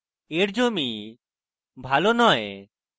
এর জমি ভালো নয়